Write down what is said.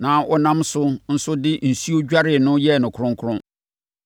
na ɔnam asɛm no so de nsuo dwaree no yɛɛ no kronkron,